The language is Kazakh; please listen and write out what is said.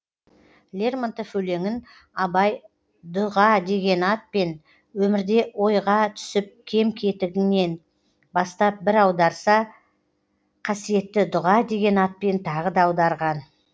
лермонтов өлеңін абай дұға деген атпен өмірде ойға түсіп кем кетігіңнен бастап бір аударса қасиетті дұға деген атпен тағы да аударған